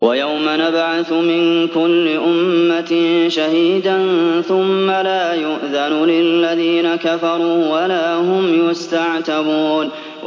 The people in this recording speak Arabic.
وَيَوْمَ نَبْعَثُ مِن كُلِّ أُمَّةٍ شَهِيدًا ثُمَّ لَا يُؤْذَنُ لِلَّذِينَ كَفَرُوا وَلَا هُمْ يُسْتَعْتَبُونَ